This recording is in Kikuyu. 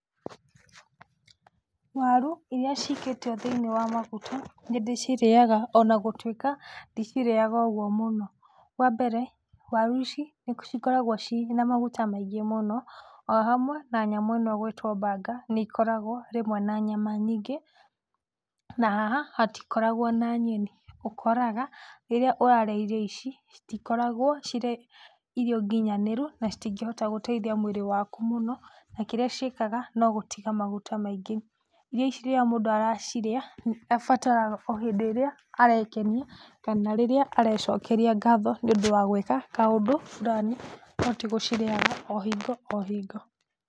Waru iria cikĩtio thĩinĩ wa maguta nĩ ndĩcirĩaga ona gũtuĩka ndĩcirĩaga ũguo mũno, wa mbere waru ici nĩ cikoragwo ciĩna maguta maingĩ mũno o hamwe na nyamũ ĩno ĩgwĩtwo burger nĩ ikoragwo rĩmwe na nyama nyingĩ itakoragwo na nyeni na rĩmwe ũkoraga rĩrĩa ũrarĩa irio ici, citikoragwo cirĩ irio nginyanĩru na citingĩhota gũteithia mwĩrĩ waku mũno na kĩrĩa ciĩkaga no gũtiga maguta maingĩ. Irio ici rĩrĩa mũndũ areciria nĩ ibataraga o hĩndĩ ĩrĩa arekenia kana arecokeria ngatho nĩ ũndũ wa gwĩka kaũndũ fulani no tigũcirĩaga o hingo o hingo